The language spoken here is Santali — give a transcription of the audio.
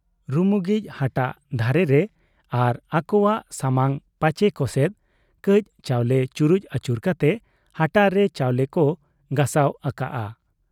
ᱨᱩᱢᱩᱜᱤᱡ ᱦᱟᱴᱟᱜ ᱫᱷᱟᱨᱮ ᱨᱮ ᱟᱨ ᱟᱹᱠᱚᱣᱟᱜ ᱥᱟᱢᱟᱝ ᱯᱟᱪᱮ ᱠᱚᱥᱮᱫ ᱠᱟᱹᱡ ᱪᱟᱣᱞᱮ ᱪᱩᱨᱩᱡ ᱟᱹᱪᱩᱨ ᱠᱟᱛᱮ ᱦᱟᱴᱟᱜ ᱨᱮ ᱪᱟᱣᱞᱮ ᱠᱚ ᱜᱚᱥᱟᱣ ᱟᱠᱟᱜ ᱟ᱾